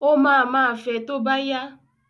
Ó máa ma fẹ tó bá yá.